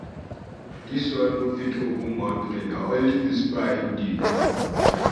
Dis one no fit open mout pray, na only whisper im dey do.